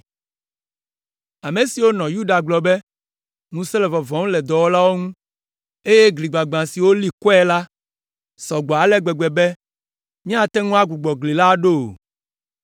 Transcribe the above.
Ame siwo nɔ Yuda gblɔ be, “Ŋusẽ le vɔvɔm le dɔwɔlawo ŋu, eye gli gbagbã si woli kɔe la sɔ gbɔ ale gbegbe be míate ŋu agbugbɔ gli la aɖo o.”